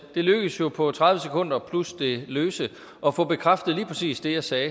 det lykkedes jo på tredive sekunder plus det løse at få bekræftet lige præcis det jeg sagde